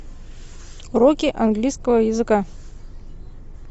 уроки английского языка